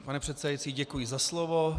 Pane předsedající, děkuji za slovo.